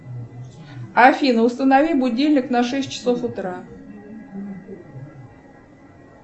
афина установи будильник на шесть часов утра